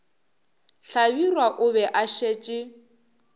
hlabirwa o be a šetše